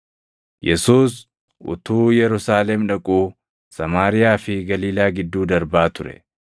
Yesuus utuu Yerusaalem dhaquu Samaariyaa fi Galiilaa gidduu darbaa ture.